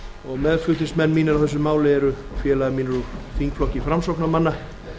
og meðflutningsmenn mínir á þessu máli eru félagar mínir úr þingflokki framsóknarmanna